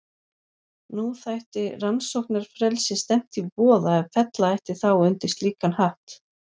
Nú þætti rannsóknarfrelsi stefnt í voða ef fella ætti þá undir slíkan hatt.